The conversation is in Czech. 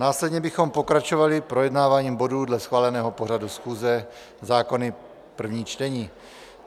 Následně bychom pokračovali projednáváním bodů dle schváleného pořadu schůze - zákony, první čtení.